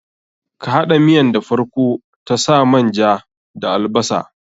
Ka haɗa miyan da farko ta sa man ja da albasar.